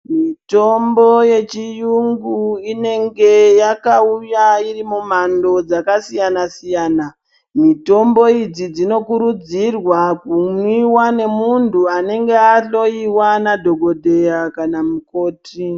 Mitombo ye chiyungu inenge yakauya iri mu mhando dzaka siyana siyana mitombo idzi dzino kurudzirwa ku mwiwa ne muntu anenge a hloyiwa na dhokodheya kana mukoti.